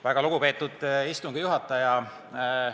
Väga lugupeetud istungi juhataja!